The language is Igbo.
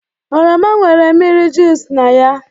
oroma nwere mmiri juic na ya